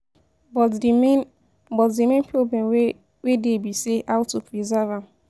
But de main, but the main problem wey wey dey be say how to preserve am.